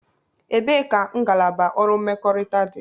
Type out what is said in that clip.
Ebee ka ngalaba ọrụ mmekọrịta dị?